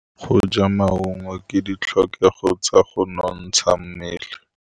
Go ja maungo ke ditlhokegô tsa go nontsha mmele.